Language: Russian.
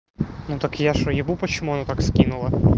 ну так я что ебу почему она так скинула